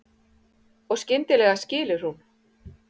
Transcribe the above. Og skyndilega skilur hún.